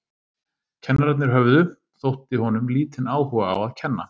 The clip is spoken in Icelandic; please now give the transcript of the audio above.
Kennararnir höfðu, þótti honum, lítinn áhuga á að kenna.